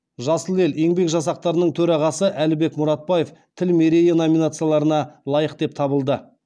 жасыл ел еңбек жасақтарының төрағасы әлібек мұратбаев тіл мерейі номинацияларына лайық деп табылды